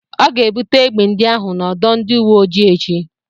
Ọ ga-ebute egbe ndị ahụ n'ọdọ ndị uwe ojii echi.